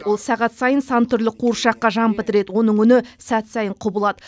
ол сағат сайын сан түрлі қуыршаққа жан бітіреді оның үні сәт сайын құбылады